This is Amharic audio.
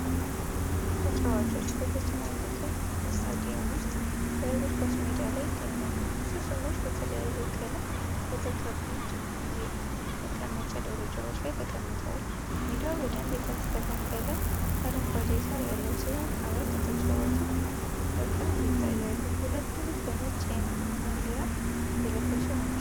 ተጫዋቾች በተጨናነቀ ስታዲየም ውስጥ በእግር ኳስ ሜዳ ላይ ይገኛሉ። ብዙ ሰዎች በተለያየ ቀለም በተቀቡት የመቀመጫ ደረጃዎች ላይ ተቀምጠዋል። ሜዳው በደንብ የተስተካከለ አረንጓዴ ሳር ያለው ሲሆን አራት ተጫዋቾች በቅርብ ይታያሉ፤ ሁለቱ በነጭ ማሊያ የለበሱ ናቸው።